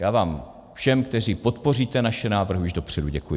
Já vám všem, kteří podpoříte naše návrhy, už dopředu děkuji.